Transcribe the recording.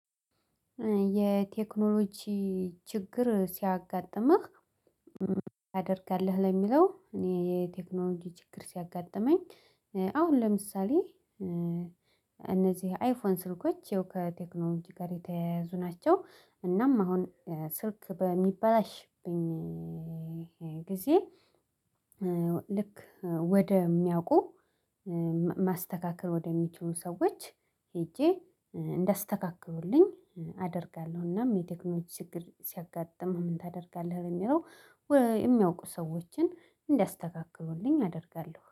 የቴክኖሎጂ ችግር ሲያጋጥምህ? ታደርጋለህ ለሚለው እኔ የቴክኖሎጂ ችግር ሲያጋጥመኝ። አሁን ለምሳሌ እነዚህ አይፎን ስልኮች ያው ከቴክኖሎጂ ጋር የተያያዙ ናቸው። እናም አሁን ስልክ በሚበላሽብኝ ጊዜ። ልክ ወደሚያውቁ ማስተካከል ወደሚችሉ ሰዎች ሄጄ እንዳስተካክሉልኝ አደርጋለሁ። እናም የቴክኖሎጅ ችግር ሲያጋጥምህ ምን ታደርጋለህ በሚለው? የሚያውቁ ሰዎችን እንዲያስተካክሉልኝ አደርጋለሁ።